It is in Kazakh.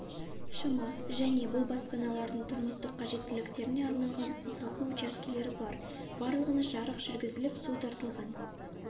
шм және бұл баспаналардың тұрмыстық қажеттіліктеріне арналған қосалқы учаскелері бар барлығына жарық жүргізіліп су тартылған